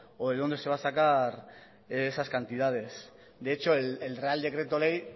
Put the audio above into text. o de dónde se va a sacar esas cantidades de hecho el real decreto ley